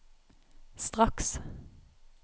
straks